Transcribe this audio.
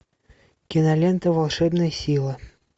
кинолента волшебная сила